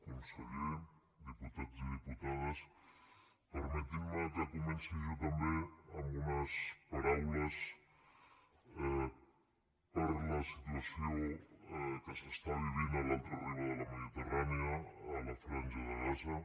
conseller diputats i diputades permetin me que comenci jo també amb unes paraules per la situació que s’està vivint a l’altra riba de la mediterrània a la franja de gaza